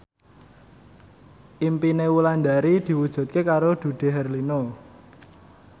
impine Wulandari diwujudke karo Dude Herlino